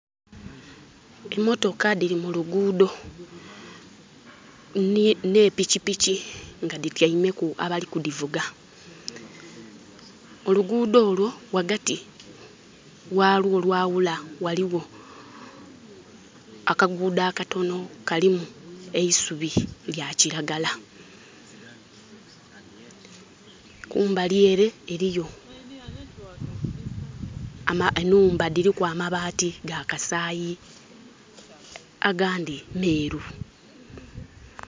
Emotoka diri mu luguudo ne pikipiki nga dityaimeku abali kudivuga. Oluguudo olwo wagati walwo olwawula waliwo akaguudo akatono kalimu eisubi erya kiragala. Kumbali ere eriyo enhumba diriku amabaati ga kasaayi agandi meeru